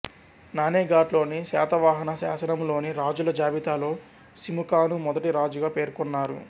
నానేఘాట్లోని శాతవాహన శాసనం లోని రాజుల జాబితాలో సిముకాను మొదటి రాజుగా పేర్కొన్నారు